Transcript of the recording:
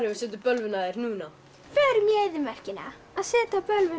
við setjum bölvun á þær núna förum í eyðimörkina að setja bölvun á